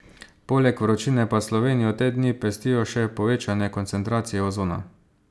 Poleg vročine pa Slovenijo te dni pestijo še povečane koncentracije ozona.